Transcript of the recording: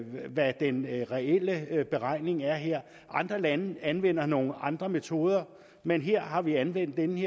hvad den reelle beregning er her andre lande anvender nogle andre metoder men her har vi anvendt denne